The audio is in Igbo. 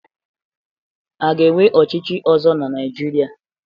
A ga-enwe ọchịchị ọzọ na Naịjirịa?